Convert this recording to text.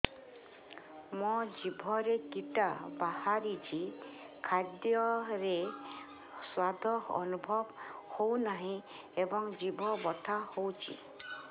ମୋ ଜିଭରେ କିଟା ବାହାରିଛି ଖାଦ୍ଯୟରେ ସ୍ୱାଦ ଅନୁଭବ ହଉନାହିଁ ଏବଂ ଜିଭ ବଥା ହଉଛି